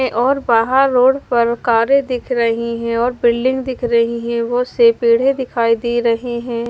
और बाहर रोड पर कारे दिख रही है और बिल्डिंग दिख रही है बहुत से पेड़े दिखाई दे रहे है।